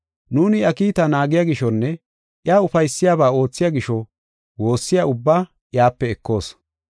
Nuuni iya kiitaa naagiya gishonne iya ufaysiyabaa oothiya gisho woossiyaba ubbaa iyape ekoos.